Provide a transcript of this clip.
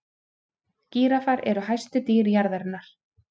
gíraffar eru hæstu dýr jarðarinnar